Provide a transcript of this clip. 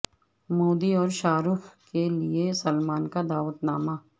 مودی اور شاہ رخ کے لیے سلمان کا دعوت نامہ